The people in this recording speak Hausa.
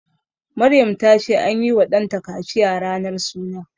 Maryam ta ce anyi wa ɗanta kaciya ranar suna